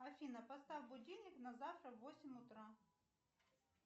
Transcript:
афина поставь будильник на завтра на восемь утра